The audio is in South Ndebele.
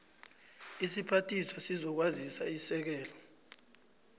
isiphathiswa sezokwazisa isekela